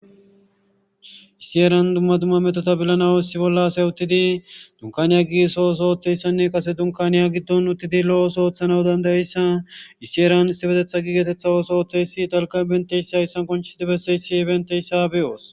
Issi heeran dumma dumma methotha bilanawu issi bolla asay uththidi dunkkaaniya yeggidi so oosuwa ooththeesinne dunkkaaniya giddon uththidi lo7o oosuwaa ooththanawu danddayissa issi heeran issipethettha geetheththi erehthiza ooso oothayssi dalgga manththeyssa qonccissidi bessesi banththeysa be7oos.